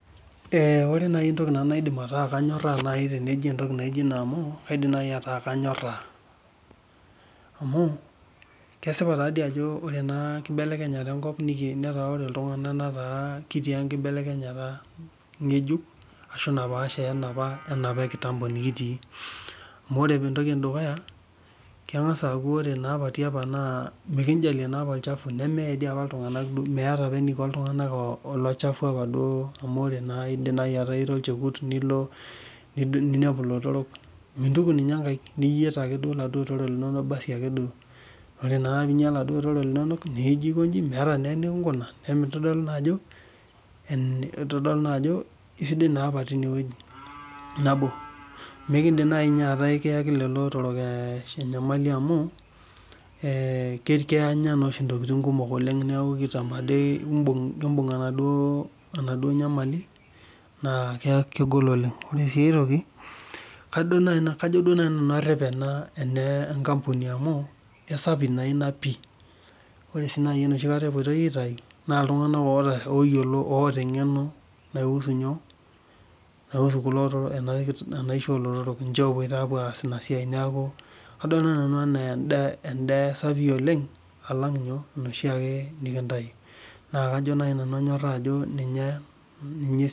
Ee kore naii entoki nanu naidim ataa kanyoraa naaji tenijo entoki kaidim naaji ataa kanyoraa, amu kesipa taadoii ajo ore ena kibelekenyata enkop netaa ore iltungana kitii ekibelekenyata ngejuk ashu napaasha wee napa kitambo nikitii, amu entoki edukuya kengaz aaku kore apa tiapa naa mikijalie apa olshafu nemeeye dii apa iltungana, meeta apa eniko iltungana Ilo chafu duoo apa amu idim ataa naaji Ira olchekut nilo ninepu ilotorok mintuku ninye nkaik niyieet ake laduoo otorok lino basi ake duoo, nijo ake anya laduoo otorok meeta naa enikinkuna, naa emintodolu naa ajo itodolu naa ajo kisidai naa apa ena, nabo mikidim naaji ataa ikiyaki lelo otorok enyamali amu, eeh Kenya naa oshi intokin kumok neeku kitambo ade ibug kibun'g enaduoo nyamali naa kegol oleng, koree duoo kajo karep ena enkapuni amuu kisapii naa ina pii, ore duoo enoshi naaii epoito aitayu naa iltungana oo yiolo oota eng'eno na husu nyoo nahusu enaisho oolotorok, epoito aaz ina said, neeku adol naaii enaa enda Siaii oleng slang enoshiiaje nikitanyu, nakajo naaji ninye kinyorraa.